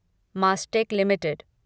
Mastek limited